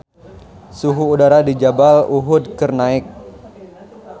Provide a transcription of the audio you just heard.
Suhu udara di Jabal Uhud keur naek